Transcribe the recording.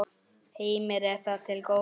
Heimir: Er það til góða?